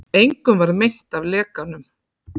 Engum varð meint af lekanum